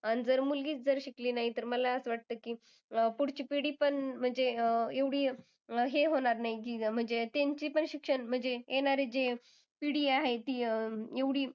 आणि जर मुलगीच जर शिकली नाही, तर मला असं वाटतं की अह पुढची पिढी पण म्हणजे अह एवढी हे होणार नाही तिचं. की म्हणजे त्यांची पण शिक्षण म्हणजे येणारी जे पिढी आहे ती अं एवढी.